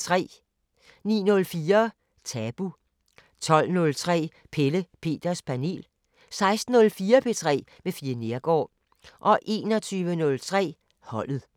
09:04: Tabu 12:03: Pelle Peters Panel 16:04: P3 med Fie Neergaard 21:03: Holdet